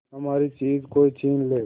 हमारी चीज कोई छीन ले